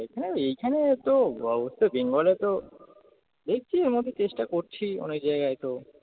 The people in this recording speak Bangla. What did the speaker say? হ্যাঁ এইখানে তো অবস্থা বেঙ্গলে তো দেখছি এরমধ্যে চেষ্টা করছি অনেক জায়গায় তো